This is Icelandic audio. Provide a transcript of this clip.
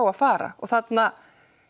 að fara og þarna